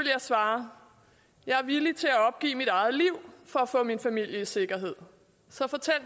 jeg svare jeg er villig til at opgive mit eget liv for at få min familie i sikkerhed så fortæl